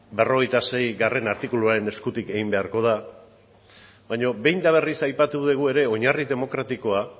berrogeita seigarrena artikuluaren eskutik egin beharko da baina behin eta berriz aipatu dugu ere oinarri demokratikoa